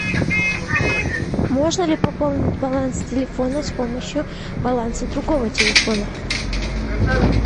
можно ли пополнить баланс телефона с помощью баланса другого телефона